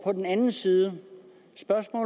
på den anden side